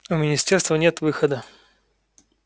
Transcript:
у министерства нет выхода